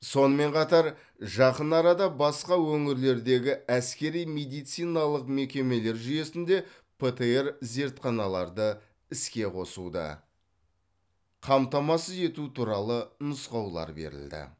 сонымен қатар жақын арада басқа өңірлердегі әскери медициналық мекемелер жүйесінде птр зертханаларды іске қосуды қамтамасыз ету туралы нұсқаулар берілді